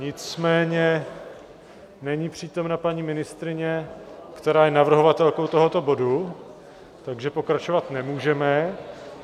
Nicméně není přítomna paní ministryně, která je navrhovatelkou tohoto bodu, takže pokračovat nemůžeme.